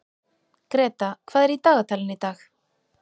Greta, hvað er í dagatalinu í dag?